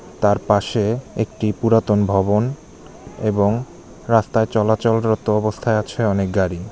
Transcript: তার পাশে একটি পুরাতন ভবন এবং রাস্তায় চলাচল অবস্থায় আছে অনেক গাড়ি।